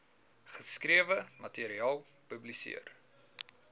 geskrewe materiaal publiseer